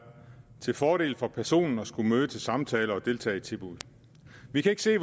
til fordel for personen at skulle møde til samtale og deltage i tilbud vi kan ikke se